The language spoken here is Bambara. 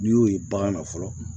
N'i y'o ye bagan na fɔlɔ